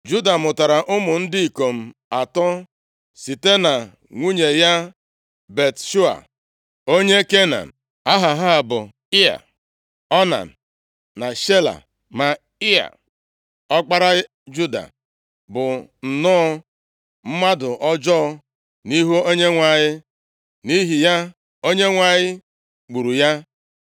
Juda mụtara ụmụ ndị ikom atọ site na nwunye ya Bat-shua, onye Kenan. Aha ha bụ Ịa, Onan na Shela. Ma Ịa ọkpara Juda bụ nnọọ mmadụ ọjọọ nʼihu Onyenwe anyị, nʼihi ya, Onyenwe anyị gburu ya.